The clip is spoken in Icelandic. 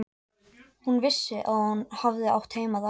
Hún vissi að hún hafði átt heima þar.